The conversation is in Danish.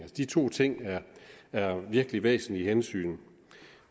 de to ting er virkelig væsentlige hensyn